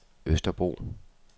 Østerbro